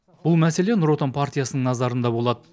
бұл мәселе нұр отан партиясының назарында болады